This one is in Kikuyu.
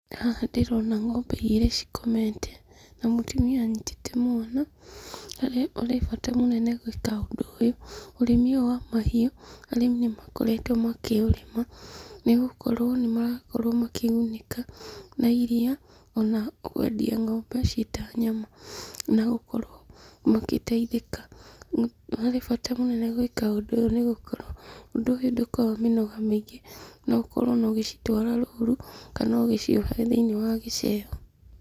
Haha ndĩrona ng'ombe igĩrĩ cikomete, na mũtumia anyitĩte mwana. Harĩa ũrĩ bata mũnene gwĩka ũndũ ũyũ. Ũrĩmi ũyũ wa mahiũ, arĩmi nĩmakoretwo makĩũrĩma nĩgũkorwo nĩmarakorwo makĩgunĩka na iria ona kwendia ng'ombe ciĩ ta nyama, na gũkorwo magĩteithĩka. Harĩ bata mũnene gwĩka ũndũ ũyũ nĩgũkorwo ũndũ ũyũ ndũkoragwo mĩnoga mĩingĩ. No ũkorwo ona ũgĩcitwara rũru, kana ugĩciohera thĩini wa gicehũ.